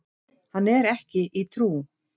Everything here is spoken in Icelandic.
Hann er ekki í trú.